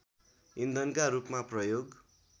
इन्धनका रूपमा प्रयोग